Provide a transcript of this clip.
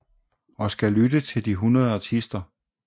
Og skal lytte til de 100 artister